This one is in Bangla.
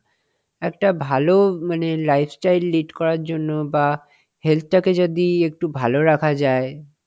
একটা ভালো মানে lifestyle lead করার জন্য বাহঃ health টাকে যদি একটু ভালো রাখা যায়,